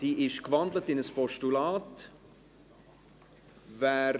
Diese ist in ein Postulat gewandelt.